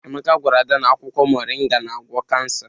Emeka gwara Ada na akwụkwọ moringa na-agwọ kansa.